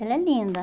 Ela é linda.